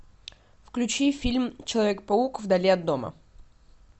включи фильм человек паук вдали от дома